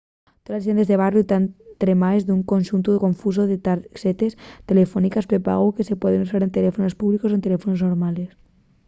toles tiendes de barriu tán tremaes d’un conxuntu confusu de tarxetes telefóniques prepagu que se pueden usar en teléfonos públicos o en teléfonos normales